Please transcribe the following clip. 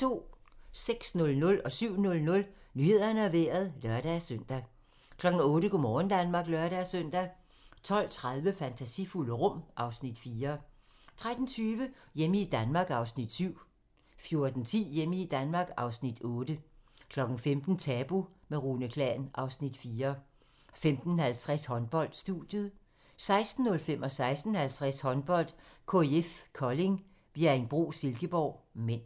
06:00: Nyhederne og Vejret (lør-søn) 07:00: Nyhederne og Vejret (lør-søn) 08:00: Go' morgen Danmark (lør-søn) 12:30: Fantasifulde rum (Afs. 4) 13:20: Hjemme i Danmark (Afs. 7) 14:10: Hjemme i Danmark (Afs. 8) 15:00: Tabu – med Rune Klan (Afs. 4) 15:50: Håndbold: Studiet 16:05: Håndbold: KIF Kolding - Bjerringbro-Silkeborg (m) 16:50: Håndbold: KIF Kolding - Bjerringbro-Silkeborg (m)